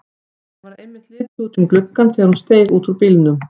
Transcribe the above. Mér varð einmitt litið út um gluggann þegar hún steig út úr bílnum.